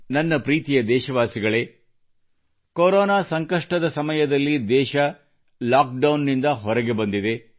ನನ್ನ ಪ್ರೀತಿಯ ದೇಶವಾಸಿಗಳೇ ಕೊರೊನಾದ ಸಂಕಷ್ಟದ ಸಮಯದಲ್ಲಿ ದೇಶವು ಲಾಕ್ಡೌನ್ನಿಂದ ಹೊರಗೆ ಬಂದಿದೆ